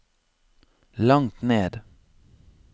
langt ned